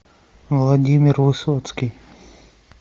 владимир высоцкий